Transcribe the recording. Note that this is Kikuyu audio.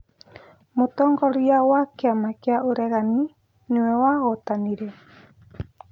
Mũtongoria wa kĩama kĩa ũregani nĩwe wahotanire